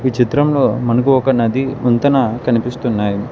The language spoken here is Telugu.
ఈ చిత్రంలో మనకు ఒక నది వంతెన కనిపిస్తున్నాయి.